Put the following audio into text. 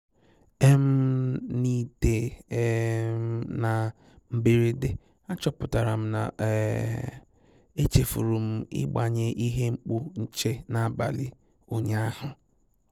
um N'ịtè um na mberede, àchọ́pụ̀tàrà m na um èchèfùrù m ị́gbànyé ìhè mkpù nchè n'àbàlị̀ ụ́nyàahụ́.